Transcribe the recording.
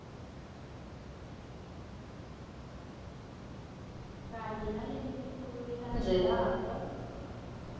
kanye nalemiculu lelandzelako